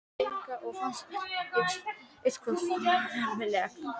Þekkti engan og fannst allt eitthvað svo ömurlegt.